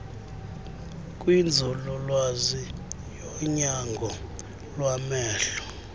kwinzululwazi yonyango lwamehlo